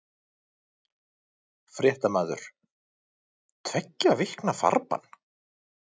Fréttamaður: Tveggja vikna farbann?